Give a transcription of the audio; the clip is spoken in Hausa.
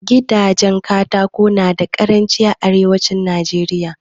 Gidajen Katako nada karanci a arewacin Najeriya